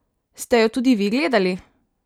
Ste jo tudi vi gledali?